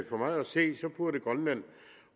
for mig at se burde grønland